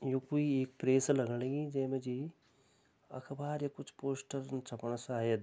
यु कई एक प्रेस लगण लगीं जै मा जी अखबार या कुछ पोस्टर छपना शायद|